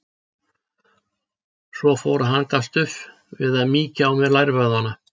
Svo fór að hann gafst upp við að mýkja á mér lærvöðvana.